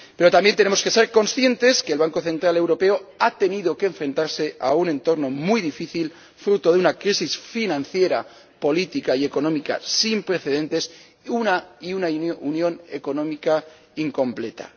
Pero también tenemos que ser conscientes de que el Banco Central Europeo ha tenido que enfrentarse a un entorno muy difícil fruto de una crisis financiera, política y económica sin precedentes, y a una unión económica incompleta.